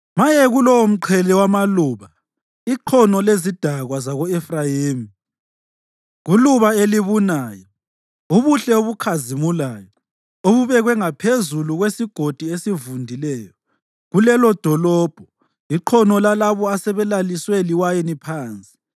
Maye kulowomqhele wamaluba, iqhono lezidakwa zako-Efrayimi, kuluba elibunayo, ubuhle obukhazimulayo, obubekwe ngaphezulu kwesigodi esivundileyo, kulelodolobho, iqhono lalabo asebelaliswe liwayini phansi!